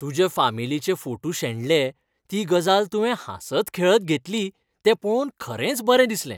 तुज्या फामिलीचे फोटू शेणले ती गजाल तुवें हांसत खेळत घेतली तें पळोवन खरेंच बरें दिसलें.